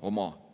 oma.